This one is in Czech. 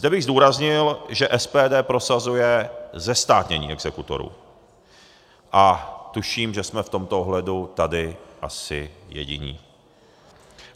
Zde bych zdůraznil, že SPD prosazuje zestátnění exekutorů, a tuším, že jsme v tomto ohledu asi tady jediní.